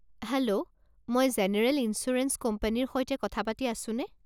Hello, মই general insurance কোম্পানীৰ সৈতে কথা পাতি আছোনে?